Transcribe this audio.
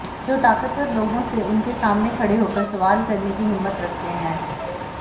जो ताकतवर लोगों से उनके सामने खड़े होकर सवाल करने की हिम्मत रखते है